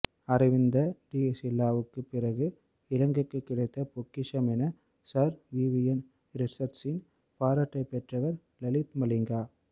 அரவிந்த டி சில்வாவுக்கு பிறகு இலங்கைக்கு கிடைத்த பொக்கிஷம் என சர் விவியன் ரிச்சர்ட்ஸின் பாராட்டைப் பெற்றவர் லசித் மலிங்கா